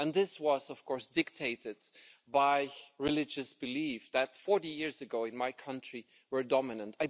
This was dictated by religious beliefs that, 40 years ago, in my country were dominant.